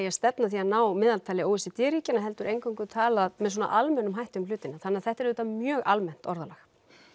að stefna að því að ná meðaltali o e c d ríkjanna heldur eingöngu talað með svona almennum hætti um hlutina þannig að þetta er auðvitað mjög almennt orðalag